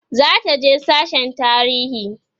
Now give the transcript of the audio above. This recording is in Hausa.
zataje sasshen tarihi